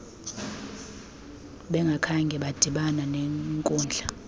bengakhange badibana nenkudla